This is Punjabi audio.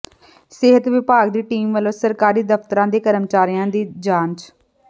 ਸਿਹਤ ਵਿਭਾਗ ਦੀ ਟੀਮ ਵਲੋਂ ਸਰਕਾਰੀ ਦਫ਼ਤਰਾਂ ਦੇ ਕਰਮਚਾਰੀਆਂ ਦੀ ਜਾਂਚ